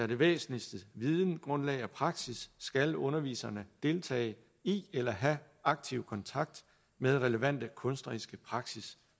det væsentligste videngrundlag er praksis skal underviserne deltage i eller have aktiv kontakt med relevante kunstneriske praksis